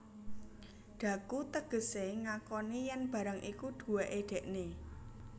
Dhaku tegesé ngakoni yèn barang iku duwéké dèkné